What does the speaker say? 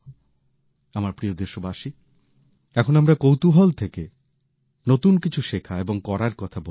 আমার প্রিয় দেশবাসী এখন আমরা কৌতূহল থেকে নতুন কিছু শেখা এবং করার কথা বলছিলাম